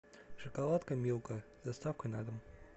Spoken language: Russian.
шоколадка милка с доставкой на дом